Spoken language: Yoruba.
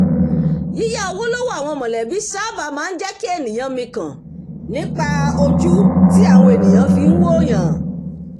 yíyá owó lọ́wọ́ àwọn mọ̀lẹ́bí sáábà máa ń jẹ́ kí ènìyàn mikàn nípa ojú tí àwọn ènìyàn fi ń wò'yàn